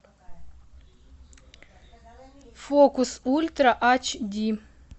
фокус ультра ач ди